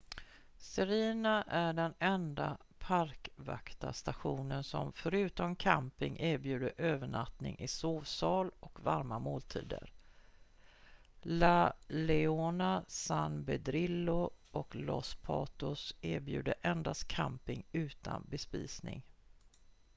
sirena är den enda parkvaktarstationen som förutom camping erbjuder övernattning i sovsal och varma måltider la leona san pedrillo och los patos erbjuder endast camping utan bespisning